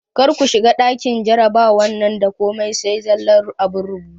Kar ku shiga ɗakin jarabawan da komai sai zallan abun rubutu!